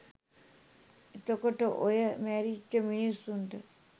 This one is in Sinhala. එතකොට ඔය මැරිච්ච මිනිස්සුන්ට